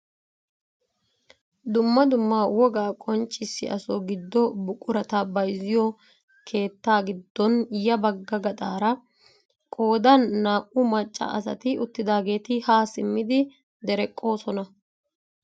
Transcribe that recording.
Dumma dumma wogaa qonccisiyaaso giddo buqurata bayzziyoo keettaa giddon ya bagga gaxaara qoodan naa"u macca asati uttidageeti ha simmi dereqqoosona.